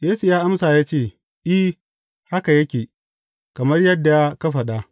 Yesu ya amsa ya ce, I, haka yake, kamar yadda ka faɗa.